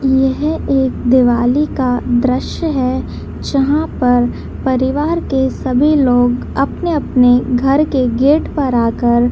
यह एक दिवाली का दृश्य है जहां पर परिवार के सभी लोग अपने-अपने घर के गेट पर आकर --